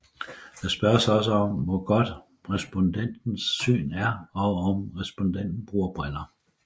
Der spørges også om hvor hvor godt respondentens syn er og om respondenten bruger briller